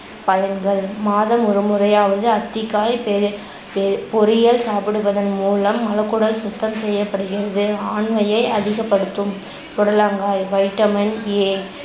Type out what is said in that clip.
பலன்கள் மாதம் ஒருமுறையாவது அத்திக்காய் பெரி~ பெ~ பொறியல் சாப்பிடுவதன் மூலம் மலக்குடல் சுத்தம் செய்யப்படுகிறது, ஆண்மையை அதிகப்படுத்தும். புடலங்காய் vitamin A